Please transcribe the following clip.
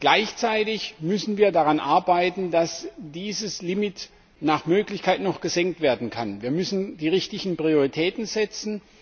Gleichzeitig müssen wir daran arbeiten, dass dieses Limit nach Möglichkeit noch gesenkt werden kann. Wir müssen die richtigen Prioritäten setzen.